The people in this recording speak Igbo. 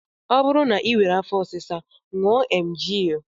Ọ bụrụ na I nwere afọ ọsịsa ṅụọ emgyl